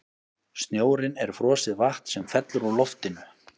snjórinn er frosið vatn sem fellur úr loftinu